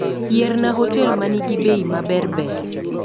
Yierna hotel manigi bei maberber